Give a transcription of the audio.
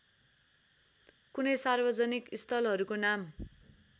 कुनै सार्वजनिक स्थलहरुको नाम